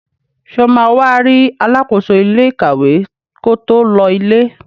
Sọ ma wá rí alákóso ilé ìkàwé ko tó lọ ilé?